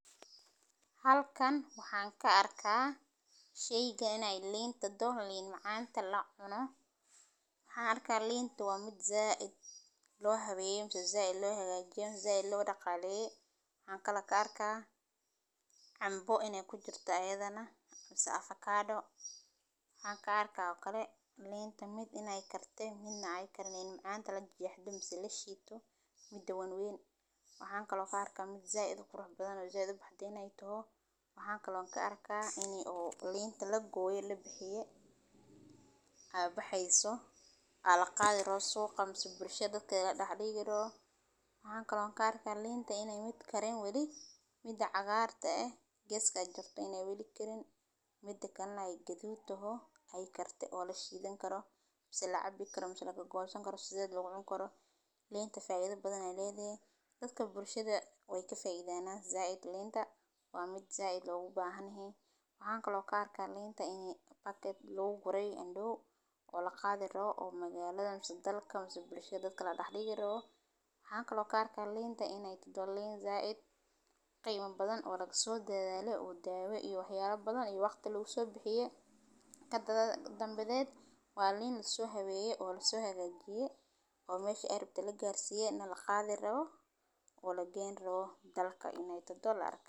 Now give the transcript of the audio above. Halkan waxan ka arka sheygan ee dor lin macanta lacuno, waxan arka linta waa mid said lo habeye mase said lo hagajiye mase said lo daqaleye, waxan kalo ka arka canbo in ee kujirto ayadhana mase afakado waxan ka arka oo kale linta mid in ee karte midna ee karin lin macanta in lashito mase lajexdo mida wawen waxan arka mid said qurux badan in ee toho, maxan ka arka in mid weli karin mida cagarta eh geska jirto in ee weli karin mida kalana ee gadud toho oo lashidhan karo mase lacabi karo mase sidheda lagu gosan karo linta faidha badan ayey ledhahay, waxan arka in andow lagu guray oo laqadhi rawo oo bulshaada la dax digi rawo, waxan kalo arka linta in ee tahdo lin said u qima badan oo laga sodadhale oo dawo iyo wax yale badan iyo waqti lagu so bixiye kadanbadheed waa lin laso haweye oo laso hagajiye oo meshi ee rabte lagarsiye oo laqadhi rawo oo lageyni rawo dalka in ee tahdo laga yawa.